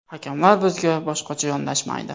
Hakamlar bizga boshqacha yondashmaydi.